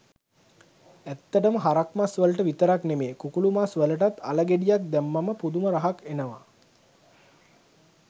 ඇත්තටම හරක් මස් වලට විතරක් නෙවෙයි කුකුළු මස් වලටත් අල ගෙඩියක් දැම්මම පුදුම රහක් එනවා